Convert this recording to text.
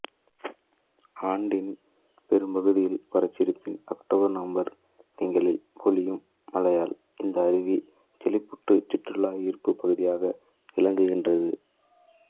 ஆண்டின் பெரும்பகுதியில் வறண்டிருப்பினும் அக்டோபர் நவம்பர் திங்களில் பொழியும் மழையால் இந்த அருவி செழிப்புற்றுச் சுற்றுலா ஈர்ப்புப் பகுதியாக விளங்குகின்றது